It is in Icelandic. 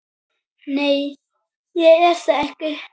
Nei, ég er það ekki.